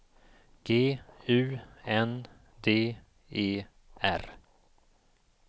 G U N D E R